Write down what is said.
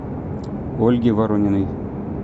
ольге ворониной